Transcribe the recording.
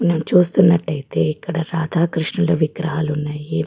ను చూస్తున్నట్టు అయితే ఇక్కడ రాధ కృష్ణుల విగ్రహాలు ఉన్నాయి --